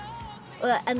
og